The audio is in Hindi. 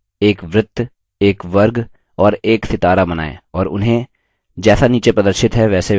एक वृत्त एक वर्ग और एक सितारा बनाएँ और उन्हें जैसा नीचे प्रदर्शित है वैसे व्यवस्थित करें